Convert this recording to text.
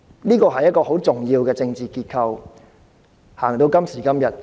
這是一個很重要的政治結構，一直推行至今。